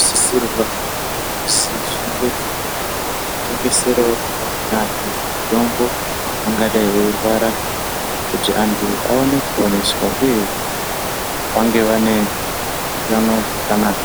zvinosisirwa kuti zvinge zveitengeserawo amweni anthu mitombo angadai eirwara, kuitira kuti vanthu vaone kupora uye vange vaine utano hwakanaka.